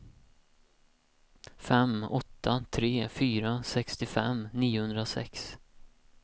fem åtta tre fyra sextiofem niohundrasex